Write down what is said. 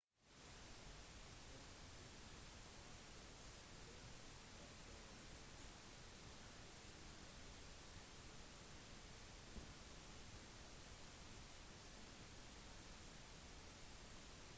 ifølge vitner var det kl. 01:15 natt til lørdag at bussen kjørte på grønt lys da bilen svingte inn foran den